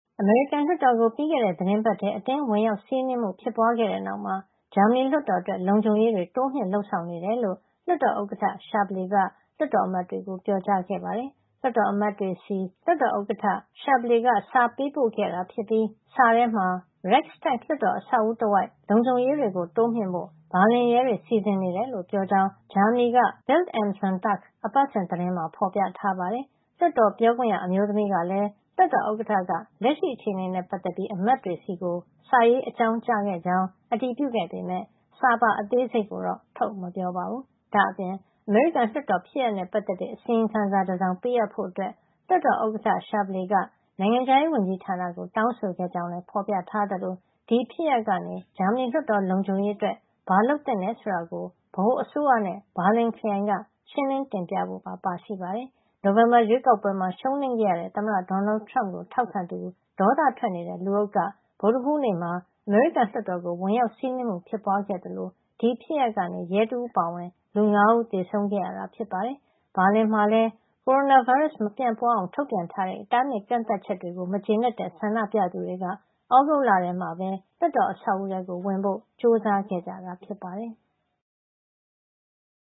အမေရိကန်လွှတ်တော်ကို ပြီးခဲ့တဲ့သီတင်းပတ်ထဲ အတင်းဝင်ရောက်စီးနင်းမှု ဖြစ်ပွါးခဲ့တဲ့နောက်မှာ ဂျာမနီလွှတ်တော်အတွက် လုံခြုံရေးတွေ တိုးမြှင့်လုပ်ဆောင်နေကြောင်း လွှတ်တော်ဥက္ကဋ္ဌ Wolfgang Schäuble က လွှတ်တော်အမတ်တွေကို ပြောကြားခဲ့ပါတယ်။ လွှတ်တော်အမတ်တွေဆီ လွှတ်တော်ဥက္ကဋ္ဌ Schäuble က စာပေးပို့ခဲ့တာဖြစ်ပြီး စာထဲမှ Reichstag လွှတ်တော်အဆောက်အဦတဝိုက် လုံခြုံရေးတွေ တိုးမြှင့်ဖို့ ဘာလင်ရဲတွေ စီစဉ်နေတယ်လို့ ပြောကြောင်း ဂျာမနီက Bild am Sonntag အပတ်စဉ်သတင်းမှာ ဖော်ပြထားပါတယ်။ လွှတ်တော်ပြောခွင့်ရ အမျိုးသမီးကလည်း လွှတ်တော်ဥက္ကဋ္ဌက လက်ရှိအခြေနေနဲ့ ပတ်သက်ပြီး အမတ်တွေဆီ စာရေးအကြောင်းကြားခဲ့ကြောင်း အတည်ပြုခဲ့ပေမယ့် စာပါအသေးစိတ်ကိုတော့ ထုတ်မပြောပါဘူး။ ဒါ့အပြင် အမေရိကန်လွှတ်တော်ဖြစ်ရပ်နဲ့ ပတ်သက်တဲ့ အစီရင်ခံစာတစောင် ပေးအပ်ဖို့ လွှတ်တော်ဥက္ကဋ္ဌ Schäuble က နိုင်ငံခြားရေးဝန်ကြီးဌာနကို တောင်းဆိုခဲ့ကြောင်းလည်း ဖော်ပြထားသလို ဒီဖြစ်ရပ်ကနေ ဂျာမနီလွှတ်တော် လုံခြုံရေးအတွက် ဘာလုပ်သင့်တယ်ဆိုတာကို ဗဟိုအစိုးရနဲ့ ဘာလင်ခရိုင်က ရှင်းလင်းတင်ပြဖို့ပါ ပါရှိပါတယ်။ နိုဝင်ဘာရွေးကောက်ပွဲမှာ ရှုံးနိမ့်ခဲ့ရတဲ့ သမ္မတ Donald Trump ကို ထောက်ခံသူ ဒေါသထွက်နေတဲ့ လူအုပ်က ဗုဒ္ဓဟူးနေ့မှာ အမေရိကန်လွှတ်တော်ကို ဝင်ရောက်စီးနင်းမှု ဖြစ်ပွါးခဲ့သလို ဒီဖြစ်ရပ်ကနေ ရဲတဦးအပါအဝင် လူ ၅ ဦး သေဆုံးခဲ့ရတာ ဖြစ်ပါတယ်။ ဘာလင်မှာလည်း ကိုရိုနာဗိုင်းရပ်စ် မပြန့်ပွါးအောင် ထုတ်ပြန်တဲ့ တားမြစ်ကန့်သတ်ချက်တွေကို မကျေနပ်တဲ့ ဆန္ဒပြသူတွေက သြဂုတ်လထဲမှာ လွှတ်တော်အဆောက်အဦထဲဝင်ဖို့ ကြိုစားခဲ့ကြတာ ဖြစ်ပါတယ်။